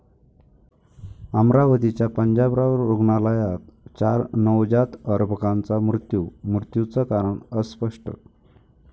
अमरावतीच्या पंजाबराव रुग्णालयात चार नवजात अर्भकांचा मृत्यू, मृत्यूचं कारण अस्पष्ट